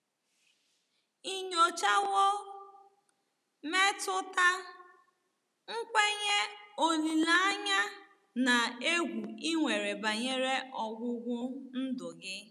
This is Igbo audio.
Ị nyochawo mmetụta, nkwenye, olileanya, na egwu i nwere banyere ọgwụgwụ ndụ gị?